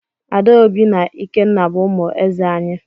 Adaobi na Ikenna bu umu eze anyi.